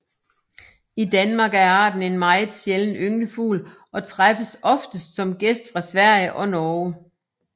I Danmark er arten en meget sjælden ynglefugl og træffes oftest som gæst fra Sverige og Norge